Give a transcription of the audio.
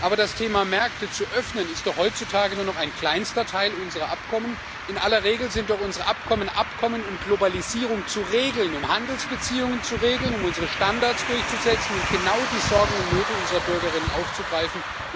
Aber das Thema, Märkte zu öffnen, ist doch heutzutage nur noch ein kleinster Teil unserer Abkommen. In aller Regel sind unsere Abkommen doch Abkommen, um Globalisierung zu regeln, um Handelsbeziehungen zu regeln, um unsere Standards durchzusetzen und genau die Sorgen und Nöte unserer Bürgerinnen aufzugreifen.